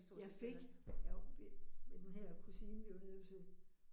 Jeg fik, jeg var ved ved den her kusine, vi var nede at besøge